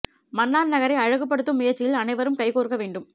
மன்னார் நகரை அழகு படுத்தும் முயற்சியில் அனைவரும் கைகோர்க்க வேண்டும்